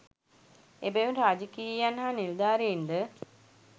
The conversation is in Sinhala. එබැවින් රාජකීයයන් හා නිලධාරීන්ද